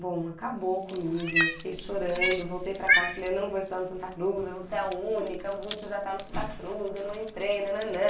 Bom, acabou comigo, eu fiquei chorando, voltei para casa e falei eu não vou estudar no Santa Cruz, eu vou ser a única, o Butch já está no Santa Cruz, eu não entrei, nananã.